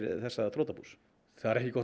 þessa þrotabús það er ekki gott